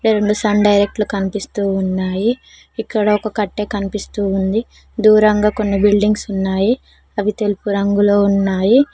రెండు sun direct కనిపిస్తూ ఉన్నాయి ఇక్కడ ఒక కట్టే కనిపిస్తూ ఉంది దూరంగా కొన్ని బిల్డింగ్స్ ఉన్నాయి అవి తెలుపు రంగులో ఉన్నాయి.